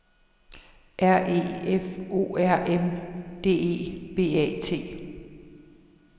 R E F O R M D E B A T